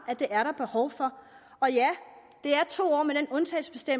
at det er der behov for og ja det er to år